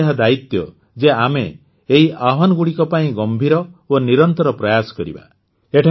ଆମର ଏହା ଦାୟିତ୍ୱ ଯେ ଆମ ଏହି ଆହ୍ୱାନଗୁଡ଼ିକ ପାଇଁ ଗମ୍ଭୀର ଓ ନିରନ୍ତର ପ୍ରୟାସ କରିବା